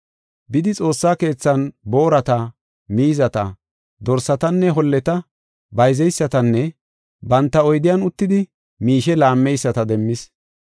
Bidi xoossa keethan boorata, miizata, dorsatanne holleta bayzeysatanne banta oydiyan uttidi miishe laammeyisata demmis.